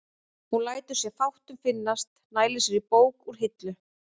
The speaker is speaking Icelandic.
Hún lætur sér fátt um finnast, nælir sér í bók úr hillu.